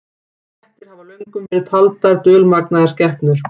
Kettir hafa löngum verið taldar dulmagnaðar skepnur.